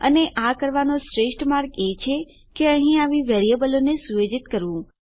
અને આ કરવાનો શ્રેષ્ઠ માર્ગ છે કે અહીં આવી વેરીએબલોને સુયોજિત કરવું